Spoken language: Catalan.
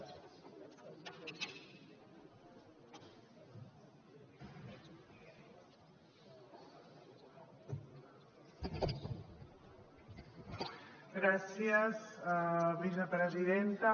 gràcies vicepresidenta